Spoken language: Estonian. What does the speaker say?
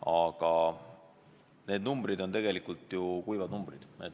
Aga need on tegelikult ju kuivad numbrid.